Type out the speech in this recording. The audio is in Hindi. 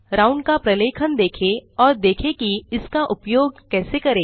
राउंड का प्रलेखन देखें और देखें कि इसका उपयोग कैसे करें